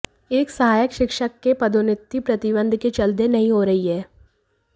एक सहायक शिक्षक की पदोन्नति प्रतिबंध के चलते नहीं हो रही है